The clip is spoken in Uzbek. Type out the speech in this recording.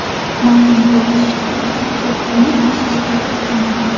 Ma’lum bo‘lishicha, u cherkovning ishchisi hisoblanadi.